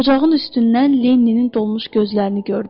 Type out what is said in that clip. Ocağın üstündən Lenninin dolmuş gözlərini gördü.